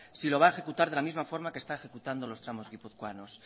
si lo va a ejecutar de la misma forma que está ejecutando los tramos guipuzcoanos